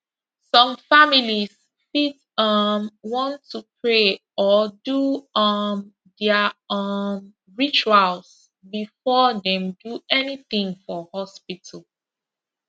some families fit um want to pray or do um their um rituals before dem do anything for hospital